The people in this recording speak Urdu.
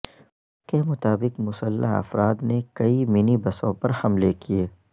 پولیس کے مطابق مسلح افراد نہ کئی منی بسوں پر حملے کیے